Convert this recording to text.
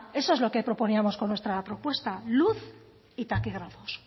eso es lo que proponíamos con nuestra propuesta luz y taquígrafos